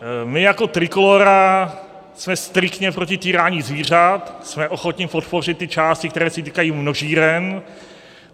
My jako Trikolóra jsme striktně proti týrání zvířat, jsme ochotni podpořit ty části, které se týkají množíren.